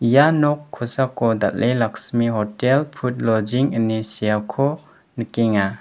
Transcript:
ia nok kosako dal·e laksmi hotel pud loging ine seako nikenga.